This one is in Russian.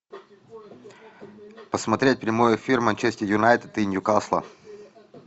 посмотреть прямой эфир манчестер юнайтед и ньюкасла